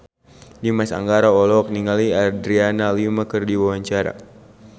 Dimas Anggara olohok ningali Adriana Lima keur diwawancara